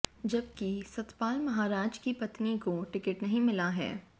जबकि सतपाल महाराज की पत्नी को टिकट नहीं मिला है